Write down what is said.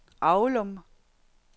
Aulum